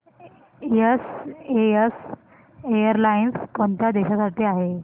SAS airlines कोणत्या देशांसाठी आहे